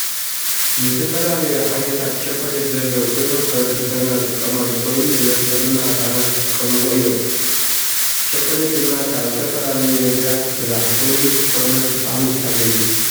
ዝተፈላለዩ ዓይነታት ቸኮሌት ዘለው ኮይኖም ሕብረተሰብና ዝጥቀመሉ ኮይኑ ብብዝሒ ድማ ህፃናት ዝጥቀሙዎ እዩ። ቸኮሌት ድማ ካብ ዝተፈላለዩ ነገራት ይስራሕ ኮይኑ ሽኮርነት ጣዕሚ ዝሓዘ እዩ ።